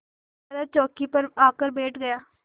तरह चौकी पर आकर बैठ गया